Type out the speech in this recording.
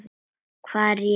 Hvað réði því?